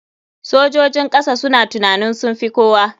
Sojojin kasa suna tunanin sunfi kowa.